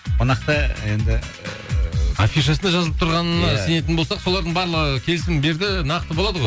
қонақты енді ыыы афишасында жазылып тұрғаныны сенетін болсақ солардың барлығы келісім берді нақты болады ғой